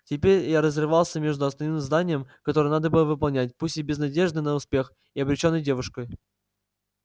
теперь я разрывался между основным заданием которое надо было выполнять пусть и без надежды на успех и обречённой девушкой